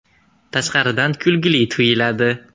Tashqaridan kulgili tuyuladi.